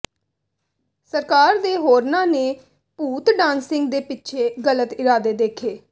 ਸਰਕਾਰ ਦੇ ਹੋਰਨਾਂ ਨੇ ਭੂਤ ਡਾਂਸਿੰਗ ਦੇ ਪਿੱਛੇ ਗਲਤ ਇਰਾਦੇ ਦੇਖੇ